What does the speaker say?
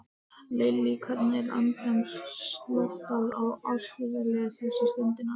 Lillý, hvernig er andrúmsloftið á Austurvelli þessa stundina?